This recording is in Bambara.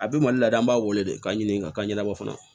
A bɛ mali la yan an b'a wele k'a ɲini ka ka ɲɛnabɔ fana